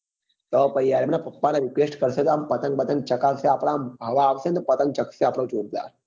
તો પછી યાર એમના પપ્પા ને request કરશે તો તો આમ પતંગ વાતંગ ચગાવશે આપડાએમ હવા આવશે તો આમ પતંગ ચગશે જોરદાર